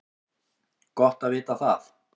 Gott að vita það